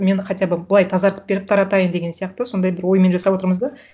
мен хотя бы былай тазартып беріп таратайын деген сияқты сондай бір оймен жасап отырмыз да